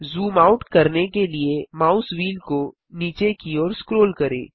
zoom out करने के लिए माउस व्हील को नीचे की ओर स्क्रोल करें